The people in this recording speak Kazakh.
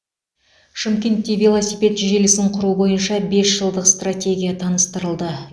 шымкентте велосипед желісін құру бойынша бес жылдық стратегия таныстырылды